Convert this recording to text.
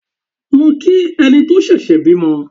Lọ kí ẹni tí ó ṣẹ̀ṣẹ̀ bímọ!